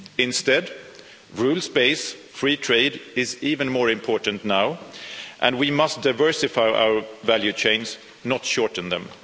Instead, rules based free trade is even more important now and we must diversify our value chains, not shorten them.